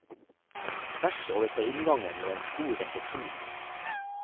Tvers overfor inngangen lå en stor resepsjon.